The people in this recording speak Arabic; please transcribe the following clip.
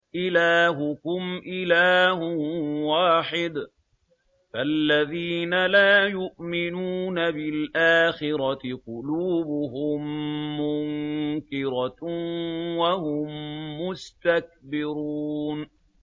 إِلَٰهُكُمْ إِلَٰهٌ وَاحِدٌ ۚ فَالَّذِينَ لَا يُؤْمِنُونَ بِالْآخِرَةِ قُلُوبُهُم مُّنكِرَةٌ وَهُم مُّسْتَكْبِرُونَ